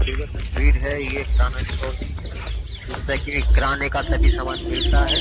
ये जो तस्वीर है ये किराना स्टोर की है जिस पर किराने का सभी सामान मिलता है।